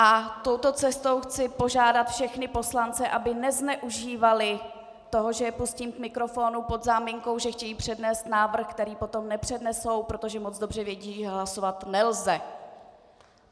A touto cestou chci požádat všechny poslance, aby nezneužívali toho, že je pustím k mikrofonu pod záminkou, že chtějí přednést návrh, který potom nepřednesou, protože moc dobře vědí, že hlasovat nelze.